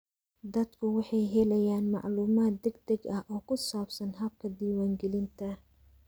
Dadku waxay helayaan macluumaad degdeg ah oo ku saabsan hababka diiwaangelinta.